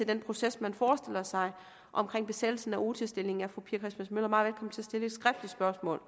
den proces man forestiller sig omkring besættelsen af odihr stillingen er fru pia christmas møller meget at stille et skriftligt spørgsmål